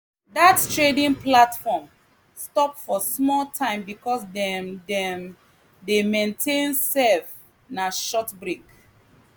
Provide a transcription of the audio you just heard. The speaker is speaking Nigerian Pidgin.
that trading platform stop for small time because dem dem dey maintain serve na short break